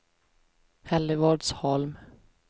Hällevadsholm